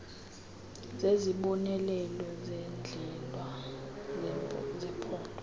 zezibonelelo zendlela zephondo